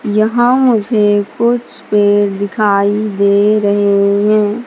यहां मुझे कुछ पेड़ दिखाई दे रहे हैं।